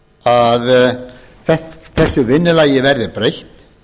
að þessu vinnulagi verði breytt